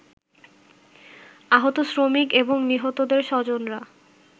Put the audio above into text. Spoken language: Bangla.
আহত শ্রমিক এবং নিহতদের স্বজনরা